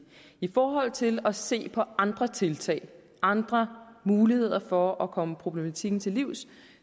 i forhold til at se på andre tiltag og andre muligheder for at komme problematikken til livs